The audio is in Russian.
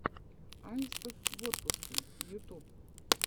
аистов в отпуске ютуб